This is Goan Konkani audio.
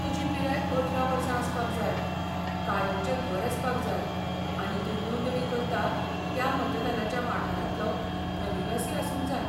तुजी पिराय अठरा वर्सां आसपाक जाय, कायमचें घर आसपाक जाय आनी तूं नोंदणी करता त्या मतदानाच्या वाठारांतलो रहिवासी आसूंक जाय.